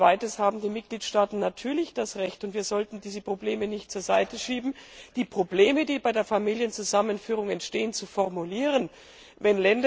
Als Zweites haben die Mitgliedstaaten natürlich das Recht und wir sollten diese Probleme nicht zur Seite schieben die Probleme, die bei der Familienzusammenführung entstehen, zu benennen.